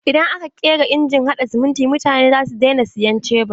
Idan aka ƙera injin haɗa siminti mutane za su daina sayan shubur.